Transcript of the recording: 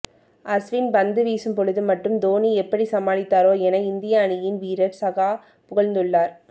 அஸ்வின் பந்து வீசும் பொழுது மட்டும் தோனி எப்படி சமாளித்தாரோ என இந்திய அணியின் வீரர் சகா புகழ்ந்துள்ளார்